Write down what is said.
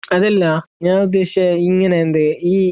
അതല്ല ഞാൻ ഉദ്ദേശിച്ചേ ഇങ്ങനെ എന്തു